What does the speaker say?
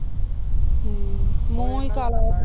ਹਮ ਮੂੰਹ ਈ ਕਾਲਾ